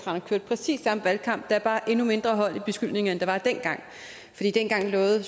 kørte præcis samme valgkamp der er bare endnu mindre i beskyldningerne der var dengang dengang lovede